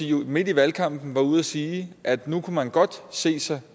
jo midt i valgkampen ude at sige at nu kunne man godt se sig